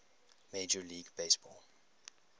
major league baseball